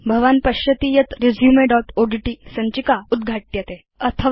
भवान् पश्यति यत् resumeओड्ट् सञ्चिका उद्घाट्यते